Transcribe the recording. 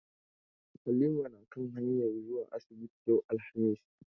Halima na kan hanyar zuwa asibiti yau alhamis.